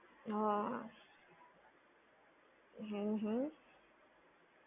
હા. હમ્મ હમ્મ